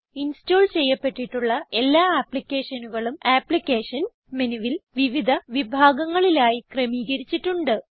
install ചെയ്യപ്പെട്ടിട്ടുള്ള എല്ലാ ആപ്പ്ളിക്കേഷനുകളും അപ്ലിക്കേഷൻസ് മെനുവിൽ വിവിധ വിഭാഗങ്ങളിലായി ക്രമീകരിച്ചിട്ടുണ്ട്